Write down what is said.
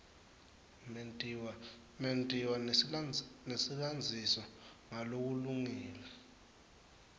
mentiwa nesilandziso ngalokulungile